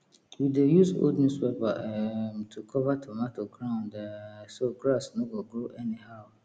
we dey use old newspaper um to cover tomato ground um so grass no go grow anyhow